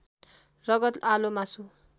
रगत आलो मासु